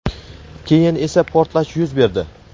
keyin esa portlash yuz berdi.